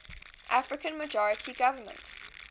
african majority government